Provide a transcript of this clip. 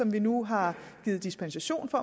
vi nu har givet dispensation for